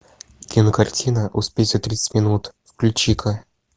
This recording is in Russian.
кинокартина успеть за тридцать минут включи ка